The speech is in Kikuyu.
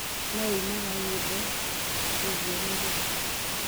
no uinaga nyĩmbo ciĩgie ruriri